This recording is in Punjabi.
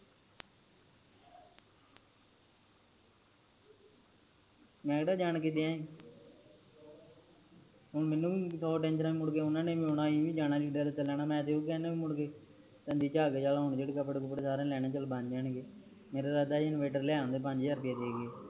ਮੈ ਕੇਹੜਾ ਜਾਨ ਕ ਕਿਆ ਹੁਣ ਮੈਨੂੰ ਵੀ ਬਹੁਤ danger ਆ ਮੁੜਕੇ ਓਨਾ ਨੇ ਆਉਣਾ ਆ ਜਾਣਾ ਮੈ ਤਾ ਕਯੋ ਕਹਿਣਾ ਵੀ ਮੁੜਕੇ ਓਨਾ ਕੱਪੜੇ ਕੁਪੜੇ ਸਾਰੇ ਲੈਣੇ ਆ ਵੀ ਚਲ ਬਣ ਜਾਣਗੇ ਮੇਰਾ ਇਰਾਦਾ ਸੀ ਇਨਵਰਟਰ ਲਯਾਂ ਦਾ ਪੰਜ ਹਜਾਰ ਪਏ ਦੇਕੇ